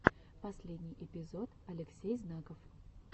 последний эпизод алексей знаков